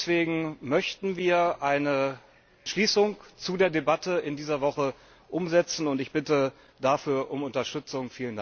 Deswegen möchten wir eine Entschließung zu der Debatte in dieser Woche umsetzen, und ich bitte dafür um Unterstützung.